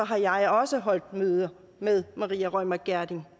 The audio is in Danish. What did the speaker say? har jeg også holdt møder med maria reumert gjerding